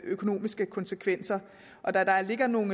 økonomiske konsekvenser og da der ligger nogle